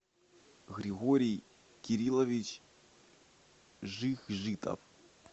григорий кириллович жихжитов